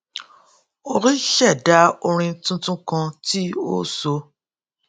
ó ṣẹdá orin tuntun kan tí ó so